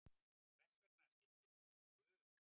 En hvers vegna skyldi hún vera gul?